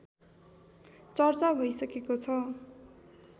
चर्चा भइसकेको छ